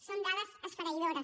són dades esfereïdores